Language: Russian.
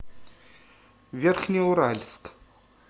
верхнеуральск